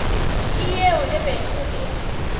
ke yeo e bego e